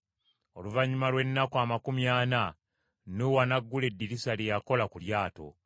Oluvannyuma lw’ennaku amakumi ana Nuuwa n’aggula eddirisa lye yakola ku lyato